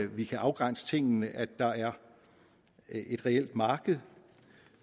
vi kan afgrænse tingene at der er et reelt marked